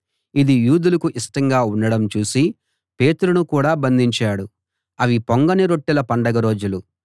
ఇది యూదులకు ఇష్టంగా ఉండడం చూసి పేతురును కూడా బంధించాడు అవి పొంగని రొట్టెల పండగ రోజులు